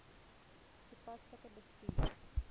toepaslik bestuur